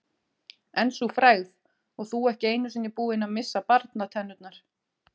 En sú frægð, og þú ekki einu sinni búinn að missa barnatennurnar.